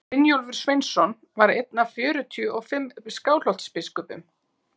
brynjólfur sveinsson var einn af fjörutíu og fimm skálholtsbiskupum